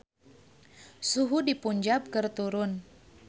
Suhu di Punjab keur turun